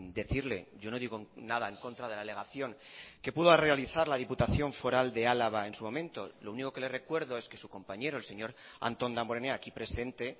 decirle yo no digo nada en contra de la alegación que pudo realizar la diputación foral de álava en su momento lo único que le recuerdo es que su compañero el señor antón damborenea aquí presente